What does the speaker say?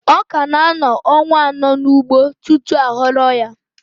Ọka na-anọ ọnwa anọ n'ugbo tutu aghọrọ ya